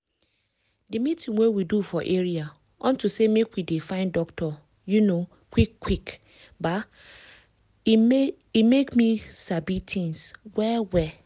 di meeting wey we do for area unto say make we dey find doctor um quick quick um e make me sabi tins well well.